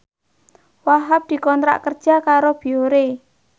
Wahhab dikontrak kerja karo Biore